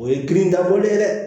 O ye girin dabɔlen ye dɛ